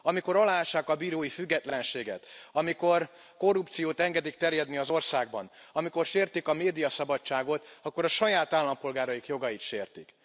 Amikor aláássák a bírói függetlenséget, amikor a korrupciót engedik terjedni az országban, amikor sértik a médiaszabadságot, akkor a saját állampolgáraik jogait sértik.